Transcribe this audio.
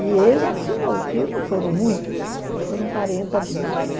E ele assinou, não foram muitos, foram quarenta bispos.